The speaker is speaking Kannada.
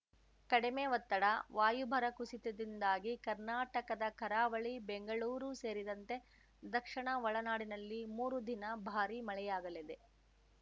ಕಡಿಮೆ ಒತ್ತಡ ವಾಯುಭಾರ ಕುಸಿತದಿಂದಾಗಿ ಕರ್ನಾಟಕದ ಕರಾವಳಿ ಬೆಂಗಳೂರು ಸೇರಿದಂತೆ ದಕ್ಷಿಣ ಒಳನಾಡಿನಲ್ಲಿ ಮೂರು ದಿನ ಭಾರಿ ಮಳೆಯಾಗಲಿದೆ